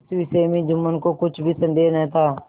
इस विषय में जुम्मन को कुछ भी संदेह न था